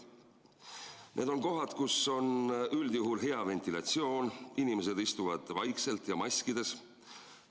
Need on kohad, kus on üldjuhul hea ventilatsioon, inimesed istuvad vaikselt ja maskides.